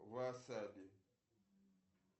васаби